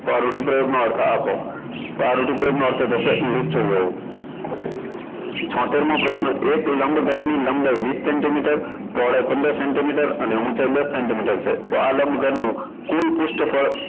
તો આ રૂઢીપ્રયોગનો અર્થ આપો તો આ રૂઢિપ્રયોગ નો અર્થ થશે મૂર્ચલ રેવુ છોતેર મો પ્રશ્ન એક લંબઘનની લંબાઈ વીસ centimeter પહોળાઈ પંદર centimeter અને ઊંચાઈ દસ centimeter છે તો આ લંબઘનનું કોઈ પૃષ્ઠફળ